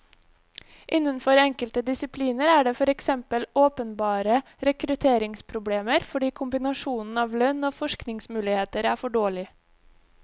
Innenfor enkelte disipliner er det for eksempel åpenbare rekrutteringsproblemer fordi kombinasjonen av lønn og forskningsmuligheter er for dårlig.